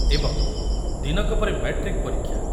ଏବଂ ଦିନକ ପରେ ମାଟ୍ରିକ୍ ପରୀକ୍ଷା